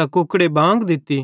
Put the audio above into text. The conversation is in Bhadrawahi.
त कुकड़े बांग दित्ती